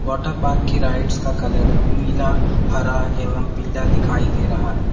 Water park की rides का colour नीला हरा एवं पीला दिखाई दे रहा है।